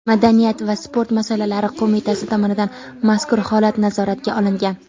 madaniyat va sport masalalari qo‘mitasi tomonidan mazkur holat nazoratga olingan.